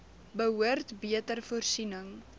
behoort beter voorsiening